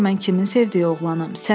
Gör mən kimin sevdiyi oğlanam.